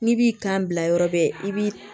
N'i b'i kan bila yɔrɔ bɛɛ i bi